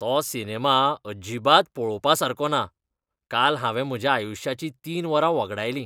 तो सिनेमा अजिबात पळोवपासारको ना. काल हांवें म्हज्या आयुश्याचीं तीन वरां वगडायलीं.